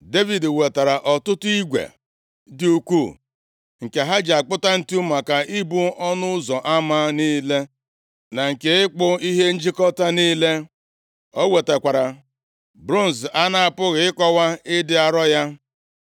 Devid wetara ọtụtụ igwe dị ukwuu, nke ha ji akpụta ǹtu maka ibo ọnụ ụzọ ama niile, na nke ịkpụ ihe njikọta niile. O wetakwara bronz a na-apụghị ịkọwa ịdị arọ ya.